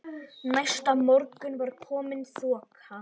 Næsta morgun var komin þoka.